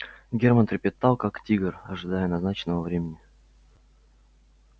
германн трепетал как тигр ожидая назначенного времени